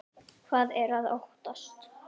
Hvað er að óttast?